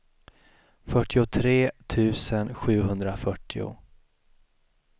fyrtiotre tusen sjuhundrafyrtio